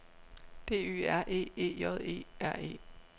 D Y R E E J E R E